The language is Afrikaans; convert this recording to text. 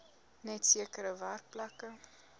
net sekere werkplekke